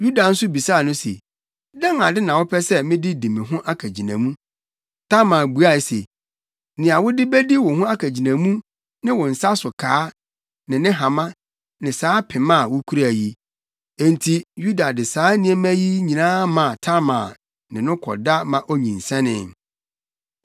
Yuda nso bisaa no se, “Dɛn ade na wopɛ sɛ mede di me ho akagyinamu?” Tamar buae se, “Nea wode bedi wo ho akagyinamu ne wo nsa so kaa ne ne hama ne saa pema a wukura yi.” Enti Yuda de saa nneɛma yi nyinaa maa Tamar ne no kɔda ma onyinsɛnee.